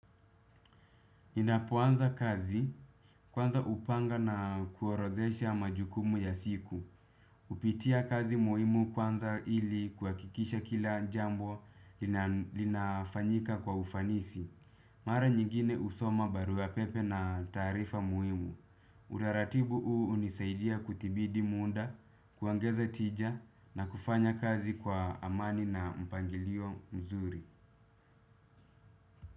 Ninapoanza kazi, kwanza hupanga na kuorodhesha majukumu ya siku. Hupitia kazi muhimu kwanza ili kuhakikisha kila jambo linafanyika kwa ufanisi. Mara nyingine husoma barua pepe na tarifa muhimu. Utaratibu huu hunisaidia kuthibiti muda, kuongeza tija na kufanya kazi kwa amani na mpangilio mzuri.